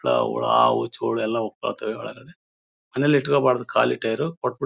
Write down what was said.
ನಾವು ಹಾವು ಧೂಳು ಎಲ್ಲ ಮನೇಲಿ ಇಟ್ಕೋಬಾರ್ದು ಖಾಲಿ ಟೈಯರ್ ಕೊಟ್ ಬಿಡ್--